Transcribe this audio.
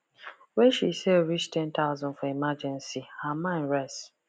when she save reach ten thousand for emergency her mind rest